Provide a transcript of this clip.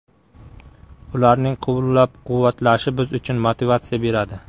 Ularning qo‘llab-quvvatlashi biz uchun motivatsiya beradi”.